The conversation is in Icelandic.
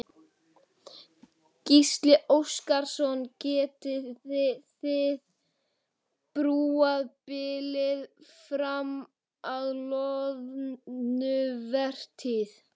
Gísli Óskarsson: Getiði þið brúað bilið fram að loðnuvertíð?